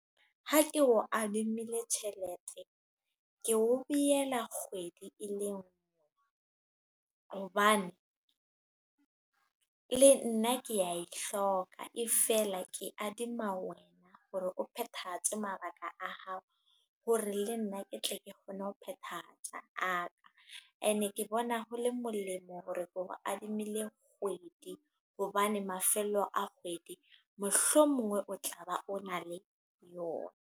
Ha ke o adimile tjhelete. Ke o biyela kgwedi e le nngwe. Hobane, le nna ke a e hloka. E feela ke adima wena, hore o phethahatswe mabaka a hao. Hore le nna ke tle ke kgone ho phethahatsa a ka. E ne ke bona hole molemo hore ke kgo adimile kgwedi. Hobane mafelo a kgwedi mohlomongwe o tla ba o na le yona.